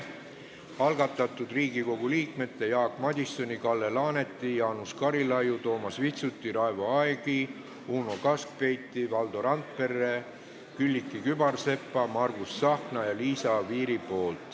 Eelnõu algatajad on Riigikogu liikmed Jaak Madison, Kalle Laanet, Jaanus Karilaid, Toomas Vitsut, Raivo Aeg, Uno Kaskpeit, Valdo Randpere, Külliki Kübarsepp, Margus Tsahkna ja Liisa Oviir.